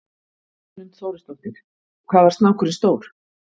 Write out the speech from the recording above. Hrund Þórsdóttir: Hvað var snákurinn stór?